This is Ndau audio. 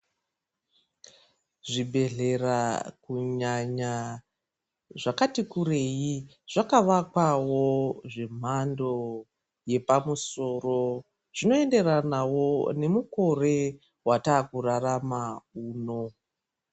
Zvibhedhlera, kunyanya zvakati kureyi,, zvaakuvakwavo zvemhando yepamusoro zvinoenderanawo nemukore wataakurarama uno